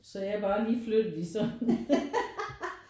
Så jeg er bare lige flyttet i sådan